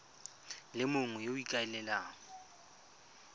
le mongwe yo o ikaelelang